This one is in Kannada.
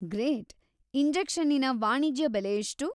ಗ್ರೇಟ್, ಇಂಜೆಕ್ಷನ್ನಿನ ವಾಣಿಜ್ಯ ಬೆಲೆ ಎಷ್ಟು?